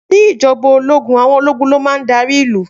Ni Ìjọba òlógún àwọn òlógún lómàhún dàrí ìlú.